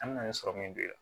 An me na ni sɔrɔmu min don yan